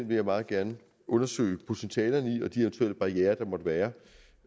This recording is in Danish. vil meget gerne undersøge potentialerne i den og de eventuelle barrierer der måtte være